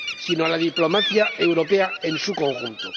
sino a la diplomacia europea en su conjunto.